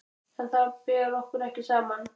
En þar ber okkur ekki saman.